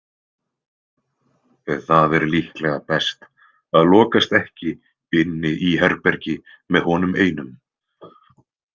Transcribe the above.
Það er líklega best að lokast ekki inni í herbergi með honum einum.